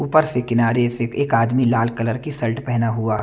ऊपर से किनारे से एक आदमी लाल कलर की शर्ट पहना हुआ--